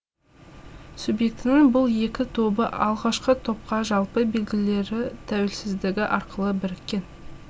субъектінің бұл екі тобы алғашқы топқа жалпы белгілері тәуелсіздігі арқылы біріккен